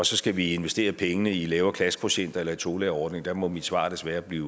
så skal investere pengene i lavere klassekvotienter eller i tolærerordning må mit svar desværre blive